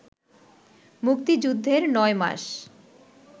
মুক্তিযুদ্ধের নয় মাস